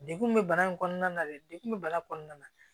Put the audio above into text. Degun min bɛ bana in kɔnɔna na dekun be bana kɔnɔna na